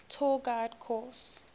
tour guide course